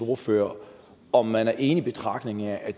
ordfører om man er enig i betragtningen at